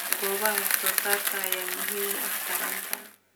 Goobaha wax soo saarka ayaa muhiim u ah taranta.